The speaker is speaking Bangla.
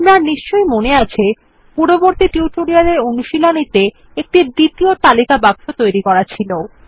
আপনার নিশ্চই মনে আছে যে পূর্ববর্তী টিউটোরিয়ালের অনুশীলনীতে একটি দ্বিতীয় তালিকা বাক্স তৈরি করা ছিল